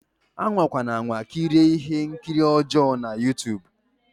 Anwakwa anwa kirie ihe nkiri ọjọ na Youtube